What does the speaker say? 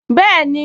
Bẹ́ẹ̀ni